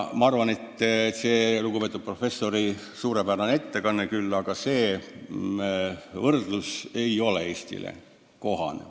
Ma arvan, et lugupeetud professoril oli küll suurepärane ettekanne, aga see võrdlus ei ole kohane.